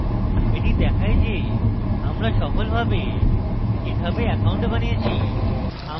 এটি দেখায় যে আমরা সফলভাবে github we অ্যাকাউন্ট বানিয়েছি